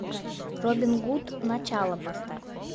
робин гуд начало поставь